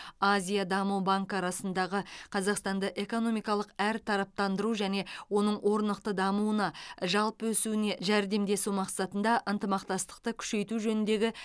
азия даму банкі арасындағы қазақстанды экономикалық әртараптандыру және оның орнықты дамуына жалпы өсуіне жәрдемдесу мақсатында ынтымақтастықты күшейту жөніндегі